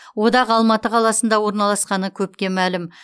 одақ алматы қаласында орналасқаны көпке мәлім